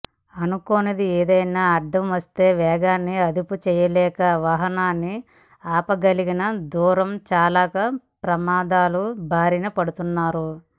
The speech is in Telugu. అనుకోనిదేదైనా అడ్డమొస్తే వేగాన్ని అదుపుచేయలేక వాహనాన్ని ఆపగలిగిన దూ రం చాలక ప్రమాదాల బారిన పడుతున్నారు